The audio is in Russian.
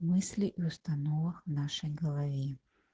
мысли и установок в нашей голове